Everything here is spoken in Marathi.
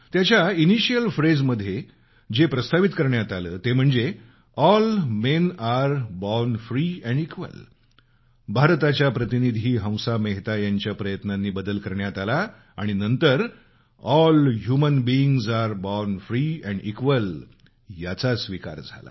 त्याच्या इनिशियल फ्रेममध्ये जे प्रपोज करण्यात आलं ते म्हणजे all men are born free and equal भारताच्या प्रतिनिधी हंसा मेहता यांच्या प्रयत्नांनी त्यात बदल करण्यात आला आणि नंतर all human beings are born free and equal याचा स्वीकार झाला